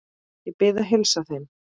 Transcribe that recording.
Ég bið að heilsa þeim.